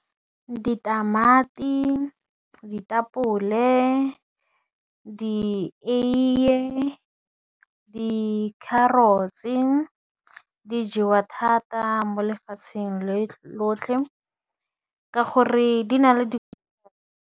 Ditamati, ditapole, dieiye, di carrots-e di jewa thata mo lefatsheng lotlhe ka gore di na le .